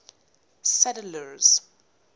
sadler's